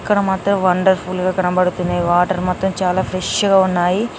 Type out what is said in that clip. ఇక్కడ మాత్రం వండర్ఫుల్ గా కనబడుతుంది వాటర్ మొత్తం చాలా ఫ్రెష్ గా ఉన్నాయి.